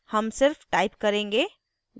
हम सिर्फ type करेंगे